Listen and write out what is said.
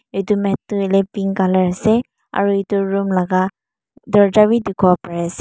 etu mat tu hoi le pink colour ase aru etu room laga dorja bi dikhi wo pari ase.